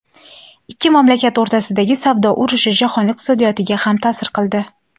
Ikki mamlakat o‘rtasidagi savdo urushi jahon iqtisodiyotiga ham ta’sir qildi.